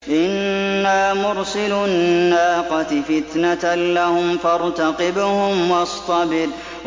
إِنَّا مُرْسِلُو النَّاقَةِ فِتْنَةً لَّهُمْ فَارْتَقِبْهُمْ وَاصْطَبِرْ